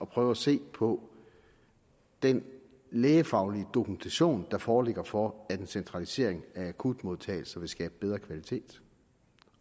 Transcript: prøve at se på den lægefaglige dokumentation der foreligger for at en centralisering af akutmodtagelser vil skabe bedre kvalitet